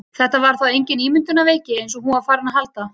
Þetta var þá engin ímyndunarveiki eins og hún var farin að halda!